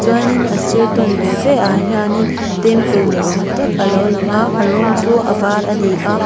chuanin a sir tawn ve ve ah hianin temple ni awm tak alo lang a a rawng chu a var a ni a.